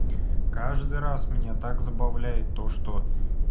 каждый раз меня так забавляет то что